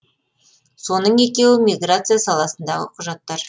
соның екеуі миграция саласындағы құжаттар